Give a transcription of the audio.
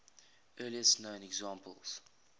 earliest known examples